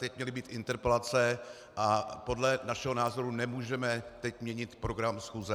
Teď měly být interpelace a podle našeho názoru nemůžeme teď měnit program schůze.